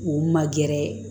U ma gɛrɛ